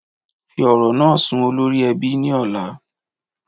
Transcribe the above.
Fí ọrọ̀ naa sún olórí èbí ni ọlá.